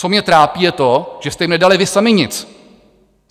Co mě trápí, je to, že jste jim nedali vy sami nic.